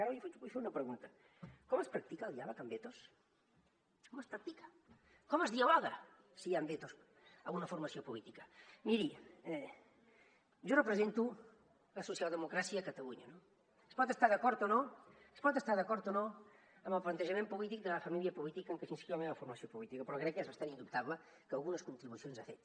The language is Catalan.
ara li vull fer una pregunta com es practica el diàleg amb vetos com es practica com es dialoga si hi han vetos a una formació política miri jo represento la socialdemocràcia a catalunya no es pot estar d’acord o no es pot estar d’acord o no amb el plantejament polític de la família política en què s’inscriu la meva formació política però crec que és bastant indubtable que algunes contribucions ha fet